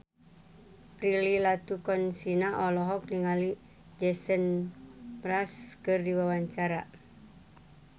Prilly Latuconsina olohok ningali Jason Mraz keur diwawancara